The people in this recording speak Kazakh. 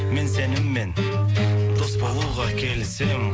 мен сенімен дос болуға келісемін